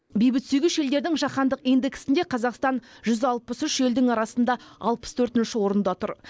бейбітсүйгіш елдердің жаһандық индексінде қазақстан жүз алпыс үш елдің арасында алпыс төртінші орында тұр